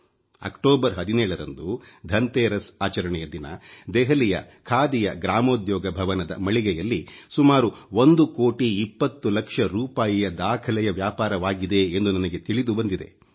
October 17ರಂದು ಧನ್ತೆರಸ್ ಆಚರಣೆಯ ದಿನ ದೆಹಲಿಯ ಖಾದಿಯ ಗ್ರಾಮೋದ್ಯೋಗ ಭವನದ ಮಳಿಗೆಯಲ್ಲಿ ಸುಮಾರು 1 ಕೋಟಿ 20 ಲಕ್ಷ ರೂಪಾಯಿಯ ದಾಖಲೆಯ ವ್ಯಾಪಾರವಾಗಿದೆ ಎಂದು ನನಗೆ ತಿಳಿದು ಬಂದಿದೆ